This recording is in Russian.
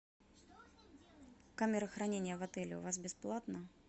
камера хранения в отеле у вас бесплатно